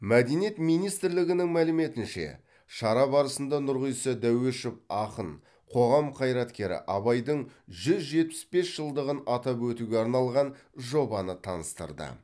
мәдениет министрлігінің мәліметінше шара барысында нұрғиса дәуешов ақын қоғам қайраткері абайдың жүз жетпіс бес жылдығын атап өтуге арналған жобаны таныстырды